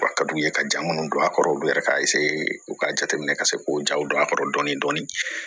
A ka d'u ye ka ja minnu don a kɔrɔ olu yɛrɛ ka u ka jateminɛ ka se k'o jaw don a kɔrɔ dɔɔnin dɔɔnin